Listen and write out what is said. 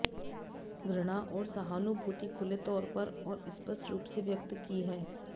घृणा और सहानुभूति खुले तौर पर और स्पष्ट रूप से व्यक्त की है